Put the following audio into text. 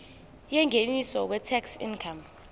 yengeniso weincome tax